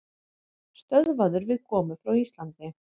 Stöðvaður við komu frá Íslandi